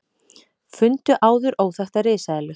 Fundu áður óþekkta risaeðlu